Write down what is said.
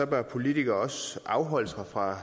bør politikere også afholde sig fra